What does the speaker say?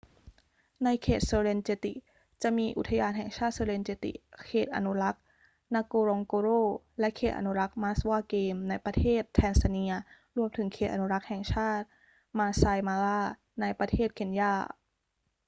ในเขต serengeti จะมีอุทยานแห่งชาติ serengeti เขตอนุรักษ์ ngorongoro และเขตอนุรักษ์ maswa game ในประเทศแทนซาเนีย รวมถึงเขตอนุรักษ์แห่งชาติ maasai mara ในประเทศเคนยา